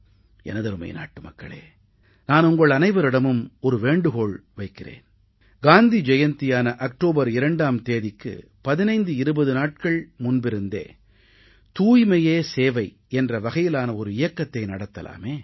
எனதருமை நாட்டுமக்களே நான் உங்கள் அனைவரிடமும் ஒரு வேண்டுகோள் வைக்கிறேன் காந்தி ஜெயந்தியான அக்டோபர் 2ஆம் தேதிக்கு 1520 நாட்கள் முன்பிருந்தே தூய்மையே சேவை என்ற வகையிலான ஒரு இயக்கத்தை நடத்தலாமே